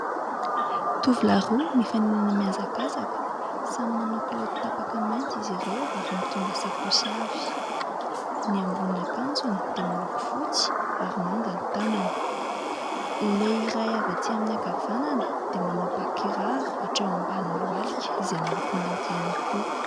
Tovolahy roa mifaninana mihazakazaka. Samy manao kilaoty tapaka mainty izy ireo ary mitondra sakaosy avy. Ny ambonin'akanjony dia miloko fotsy ary manga ny tanany. Ilay iray avy aty amin'ny ankavanana dia manao ba-kiraro hatreo ambony lohalika izay miloko mainty ihany koa.